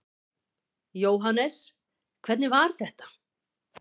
Jóhannes: Hvernig var þetta?